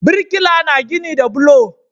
Birkila na gini da bulo